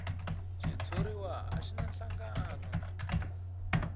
xitshuriwa a xi na nhlangano